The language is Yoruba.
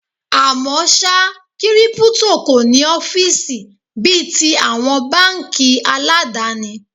À mọ́ ṣá, Kírípútò kò ní ọ́fíìsì bí i ti àwọn báńkì aládàni.